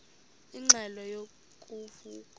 ingxelo ngo vuko